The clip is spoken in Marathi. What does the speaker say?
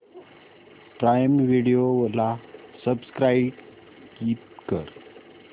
प्राईम व्हिडिओ ला सबस्क्राईब कर